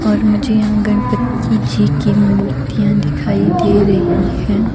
और मुझे यहां गणपति जी की मूर्तियां दिखाई दे रही हैं।